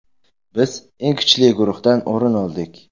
Biz eng kuchli guruhdan o‘rin oldik.